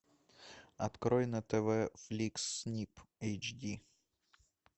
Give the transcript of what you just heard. открой на тв флик снип эйч ди